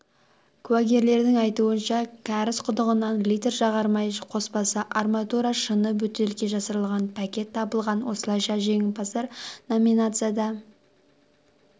куәгерлердің айтуынша кәріз құдығынан литр жағармай қоспасы арматура шыны бөтелке жасырылған пакет табылған осылайша жеңімпаздар номинацияда